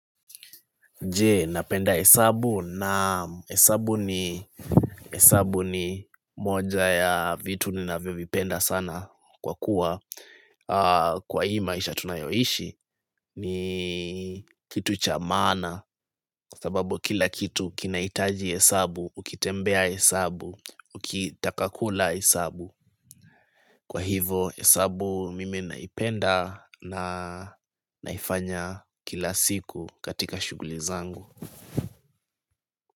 Je napenda hesabu naam hesabu ni hesabu ni moja ya vitu ninavivyopenda sana kwa kuwa Kwa hii maisha tunayoishi ni kitu cha maana sababu kila kitu kinaitaji hesabu, ukitembea hesabu, ukitaka kula hesabu Kwa hivo hesabu mimi naipenda na naifanya kila siku katika shughuli zangu.